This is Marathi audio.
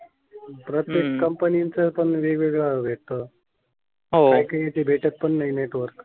प्रत्येक कंपनीच पण वेगवेगळ भेटत. हो काही काही येती भेटत पण नाही नेटवर्क